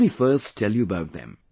Let me first tell you about them